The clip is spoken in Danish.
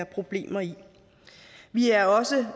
problematisk vi er også